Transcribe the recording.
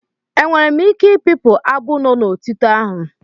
Enwere m ike i pipụ abụ no n'otito ahụ.